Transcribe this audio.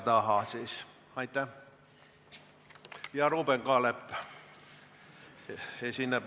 Nüüd esineb ettekandega Ruuben Kaalep.